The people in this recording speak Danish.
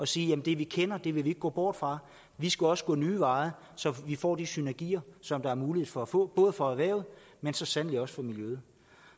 sige at det vi kender vil vi ikke gå bort fra vi skal også gå nye veje så vi får de synergier som der er mulighed for at få både for erhvervet men så sandelig også for miljøet